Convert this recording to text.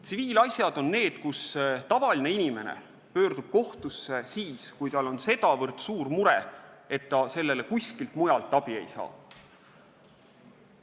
Tsiviilasjad on need, mille puhul tavaline inimene pöördub kohtusse siis, kui tal on nii suur mure, et ta kuskilt mujalt abi ei saa.